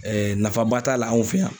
Ɛɛ nafa ba t'a la anw fɛ yan.